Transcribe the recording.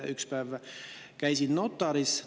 Üks päev käisin notaris.